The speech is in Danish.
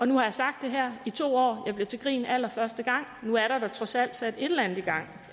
nu har jeg sagt det her i to år jeg blev til grin allerførste gang nu er der da trods alt sat et eller andet i gang